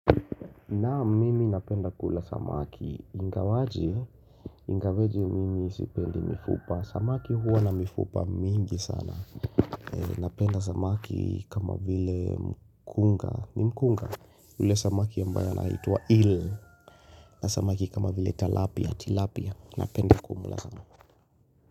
Naam mimi napenda kula samaki, ingawaje, ingaweje mimi sipendi mifupa Samaki huwa na mifupa mingi sana Napenda samaki kama vile mkunga, ni mkunga ule samaki ambaye anaitwa eel na samaki kama vile talapia, tilapia Napenda kumula sana.